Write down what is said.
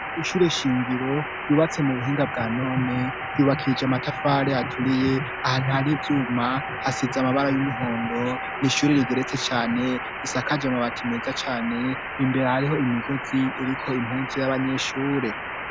Ishure shingiro ryubatse mu buhinga bwa none, ryubakishije amatafari aturiye, ahantu hari ivyuma hasize amabara y'umuhondo, n'ishure rigeretse cane, risakaje amabati meza cane, imbere hariho imigozi iriko impunzu y'abanyeshure.